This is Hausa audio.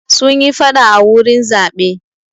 Sun yi faɗa a wurin zaɓe.